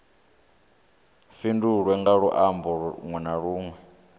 fhindulwe nga luambo lunwe na